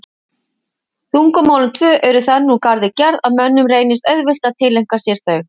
Tungumálin tvö eru þannig úr garði gerð að mönnum reynist auðvelt að tileinka sér þau.